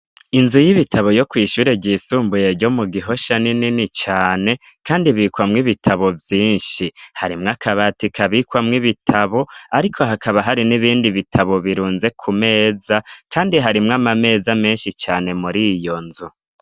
inzu y'ibitabo yo kwishure ry'isumbuye ryo mu gihosha ninini cane kandi bikwamwo ibitabo vyinshi harimwo akabati kabikwamwo ibitabo ariko hakaba hari n'ibindi bitabo birunze ku meza kandi harimwo amameza menshi cane muri iyo nzu